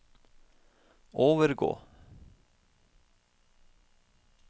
overgå